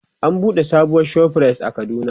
an buɗe sabuwar ShopRite a kaduna